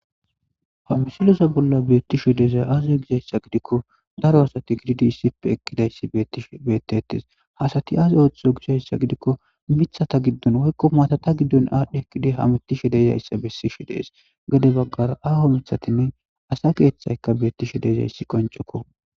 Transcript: ha misilosa bolla beettisho dezay aaze gisayssa gidikko daro asati gididi ssippe ekkidayssi beettish bettetes haasati az ooththo gishayssa gidikko mithata giddon woykko maatata giddon aadhdhe ekkida hamitishe dezayssa bessishe dees gade baggara aho mithatinne asa keeththayka beettishe dezayssi qoncokko